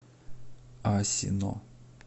асино